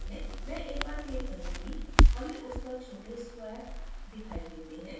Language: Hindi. मैं a पर click करुँगी हमें उस पर छोटे squares वर्ग दिखाई देते हैं